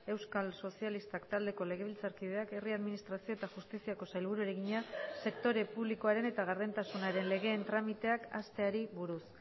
euskal sozialistak taldeko legebiltzarkideak herri administrazio eta justiziako sailburuari egina sektore publikoaren eta gardentasunaren legeen tramiteak hasteari buruz